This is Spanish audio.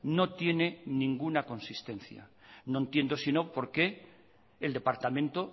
no tiene ninguna consistencia no entiendo si no por qué el departamento